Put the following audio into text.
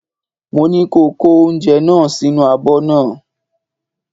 Mo ní ko kó oúnjẹ náà sínú abọ́ náà!